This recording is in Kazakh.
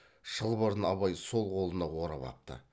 шылбырын абай сол қолына орап апты